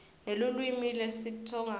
nelulwimi lesitsonga